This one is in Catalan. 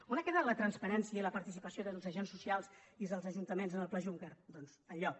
on ha quedat la transparència i la participació dels agents socials i dels ajuntaments en el pla juncker doncs enlloc